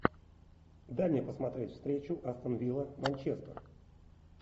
дай мне посмотреть встречу астон вилла манчестер